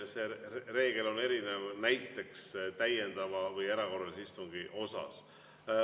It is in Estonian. See reegel erineb näiteks täiendava või erakorralise istungi omast.